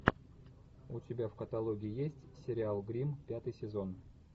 у тебя в каталоге есть сериал гримм пятый сезон